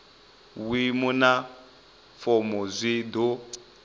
vhuimo na fomo zwi do